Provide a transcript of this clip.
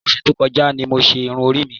Ọ̀sẹ̀ tó kọjá ni mo ṣe irun orí mi.